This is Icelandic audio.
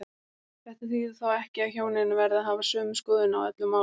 Þetta þýðir þó ekki að hjónin verði að hafa sömu skoðun á öllum málum.